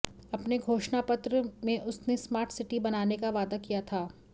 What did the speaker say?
अपने घोषणापत्र में उसने स्मार्ट सिटी बनाने का वादा किया था